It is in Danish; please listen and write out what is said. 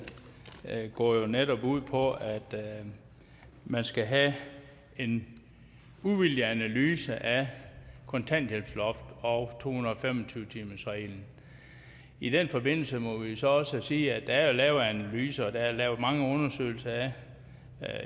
går jo netop ud på at man skal have en uvildig analyse af kontanthjælpsloftet og to hundrede og fem og tyve timersreglen i den forbindelse må vi jo så også sige at der er lavet analyser og der er lavet mange undersøgelser af